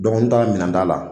Donko n taara minɛnta la.